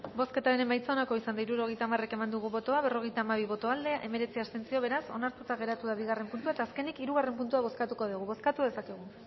bozketaren emaitza onako izan da hirurogeita hamaika eman dugu bozka berrogeita hamabi boto aldekoa hemeretzi abstentzio beraz onartuta geratu da bigarren puntua eta azkenik hirugarren puntua bozkatuko dugu bozkatu dezakegu